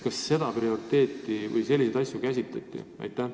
Kas selliseid probleeme käsitleti?